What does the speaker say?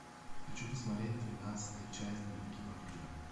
хочу посмотреть двенадцатая часть дневники вампира